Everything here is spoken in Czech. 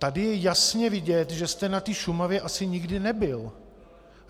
Tady je jasně vidět, že jste na té Šumavě asi nikdy nebyl.